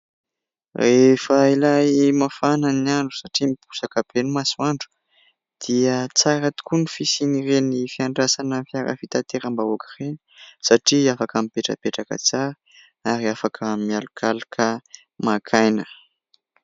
Rehefa ilay mafana ny andro satria miposaka be ny masoandro dia tsara tokoa ny fisian'ireny fiandrasana fiara fitateram-bahoaka ireny satria afaka mipetrapetraka tsara ary afaka mialokaloka maka aina.